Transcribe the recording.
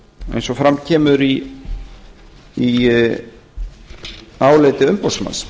eins og fram kemur í áliti umboðsmanns